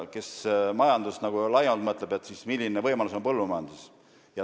Kes majandusest laiemalt mõtleb, see teab, milline võimalus on põllumajanduses.